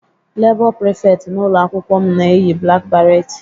Labour prefect n'ụlọ akwụkwọ m na-eyi black beret